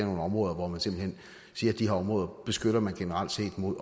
nogle områder hvor man simpelt hen siger at de her områder beskytter man generelt set mod